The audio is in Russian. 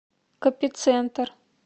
копицентр